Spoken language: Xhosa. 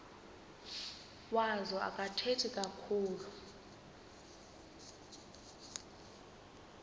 wazo akathethi kakhulu